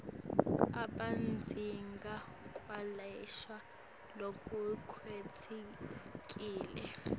abadzingi kwelashwa lokukhetsekile